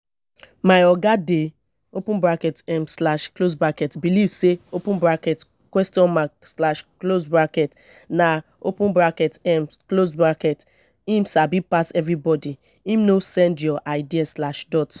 my oga dey open bracket um slash close bracket belive sey open bracket question mark slash close bracket na open bracket um slash close bracket him sabi pass everybodi him no send your ideas slash dot